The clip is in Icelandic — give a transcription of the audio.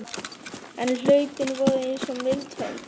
En hlaupin voru eins og mild hönd